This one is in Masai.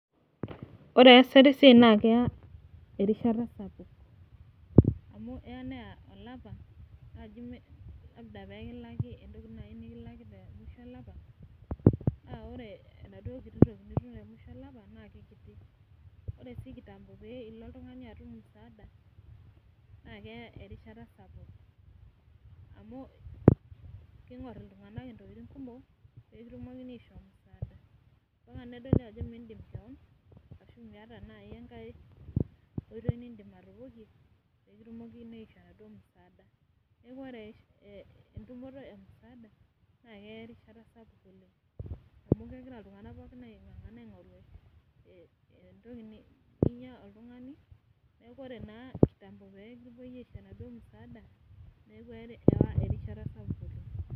ore esata esiai naa kelo neya erishata sapuk amu eya neya erishata sapuk peekilaki temusho olapa naa ore enaduo kititoki nikilaki naa kikiti, ore siikitambo ilo oltung'ani atum musaada naakeya erishata sapuk amuking'or iltung'anak intokitin kumok pee kitumok ashoo musaada mpaka nedoli ajo mitaa enkae weji ning'orita peekitumokini ashoo enaduo musaada , ore entumoto emusaada naakeya erishata sapuk oleng amu ore iltung'anak kumok naa ninye ing'orita .